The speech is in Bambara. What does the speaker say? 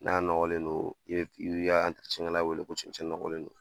N'a nɔgɔlen don, i bi ka kɛ la wele ko cɛncɛn nɔgɔlen don.